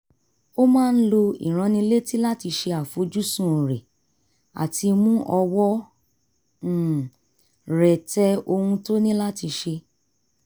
ó máa ń lo ìránnilétí láti ṣe àfojúsùn rẹ̀ àti mú ọwọ́ um rẹ̀ tẹ ohun tó ní láti ṣe